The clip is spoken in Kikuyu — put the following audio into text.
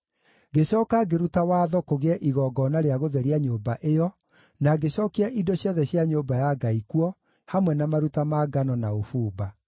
Ngĩcooka ngĩruta watho kũgĩe igongona rĩa gũtheria nyũmba ĩyo, na ngĩcookia indo ciothe cia nyũmba ya Ngai kuo, hamwe na maruta ma ngano na ũbumba.